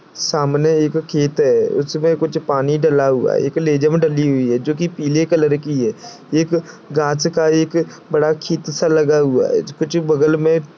सामने एक खेत है उसमे कुछ पानी डाला हुआ है एक लेजहम डाली हुई है जोकी पीले कलर की है एक घास का एक बड़ा लगा हुआ है कुछ बगल मे--